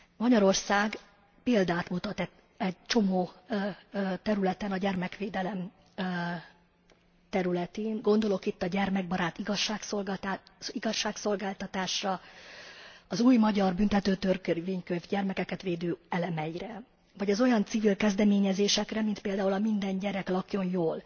Magyarország példát mutat egy csomó területen a gyermekvédelem területén, gondolok itt a gyermekbarát igazságszolgáltatásra, az új magyar büntetőtörvénykönyv gyermekeket védő elemeire, vagy az olyan civil kezdeményezésekre, mint például a Minden gyerek lakjon jól,